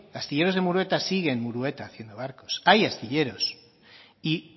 astilleros de murueta sigue en murueta haciendo barcos hay astilleros y